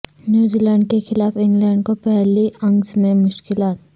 New Zealand کے خلاف England کو پہلی اننگز میں مشکلات